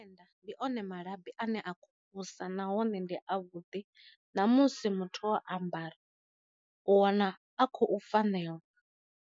Nnḓa ndi one malabi ane a kho vhusa nahone ndi a vhuḓi, na musi muthu o ambara u wana a khou fanelwa.